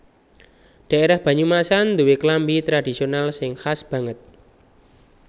Dhaérah Banyumasan nduwé klambi tradhisional sing khas banget